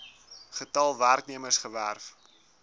getal werknemers gewerf